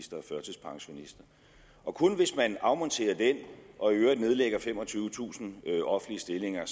og kun hvis man afmonterer den og i øvrigt nedlægger femogtyvetusind offentlige stillinger at